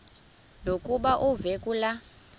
lokuba uve kulaa